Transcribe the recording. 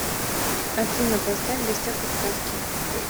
афина поставь в гостях у сказки